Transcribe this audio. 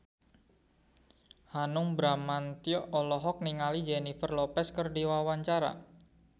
Hanung Bramantyo olohok ningali Jennifer Lopez keur diwawancara